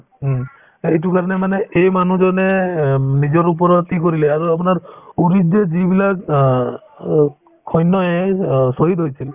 উম, এইটো কাৰণে মানে এই মানুহ জনে উম নিজৰ ওপৰত কৰিলে আৰু আপোনাৰ uri ত যে যিবিলাক অ অ' সৈন্যয়ে অ শ্বহীদ হৈছিল